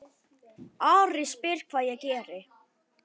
Ari spyr hvað ég geri.